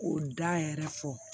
K'o da yɛrɛ fɔ